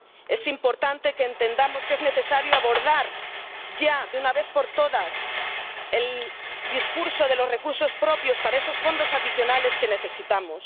Es importante que entendamos que es necesario abordar ya de una vez por todas el discurso de los recursos propios para esos fondos adicionales que necesitamos.